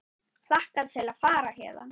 Hlakka til að fara héðan.